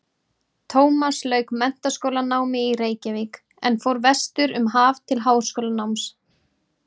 Tómas lauk menntaskólanámi í Reykjavík en fór vestur um haf til háskólanáms.